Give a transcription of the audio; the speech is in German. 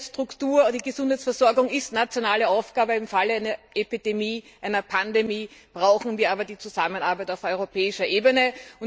Die Gesundheitsstruktur und die Gesundheitsversorgung sind nationale Aufgaben, im Fall einer Epidemie oder einer Pandemie brauchen wir aber eine Zusammenarbeit auf europäischer Ebene.